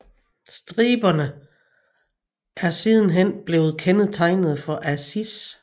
Striberne er sidenhen blevet kendetegnet for Asics